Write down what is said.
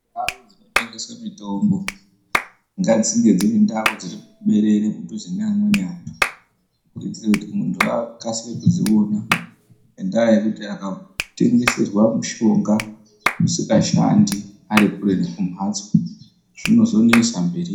Ndau dzinotengesa mitombo ngadzive ndau dzinenge dzirimuberere mudhuze neamweni antu kuitira kuti antu akasire kuzviona ngenda yekuti akatengeserwa mishonga isingashandi Ari kure nekumbatso zvinozonetsa mberi iyo.